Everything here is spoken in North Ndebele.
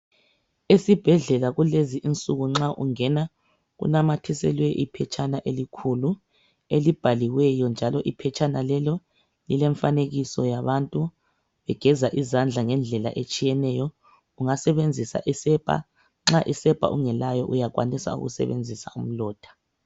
Esibhedlela kulezi insuku nxa ungena kunamathiselwe iphetshana elikhulu elibhaliweyo njalo iphetshana lelo lile mfanekiso yabantu begeza izandla ngendlela etshiyeneyo ungasebenzisa isepa nxa isepa ungelayo uyakwanisa ukusebenzisa umlotha.